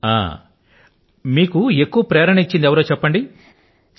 మంచిది ఇది చెప్పండి మీకు ఎక్కువ ప్రేరణనిచ్చింది ఎవరంటారు